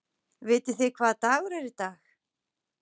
Vitið þið hvaða dagur er í dag?